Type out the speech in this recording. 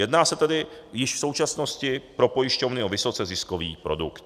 Jedná se tedy již v současnosti pro pojišťovny o vysoce ziskový produkt.